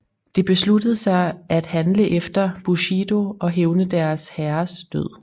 De besluttede sig at handle efter Bushido og hævne deres herres død